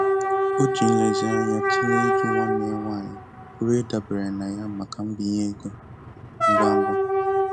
O ji nlezianya tụlee ịjụ nwanne ya nwanyị a pụrụ ịdabere na ya maka mbinye ego ngwa ngwa.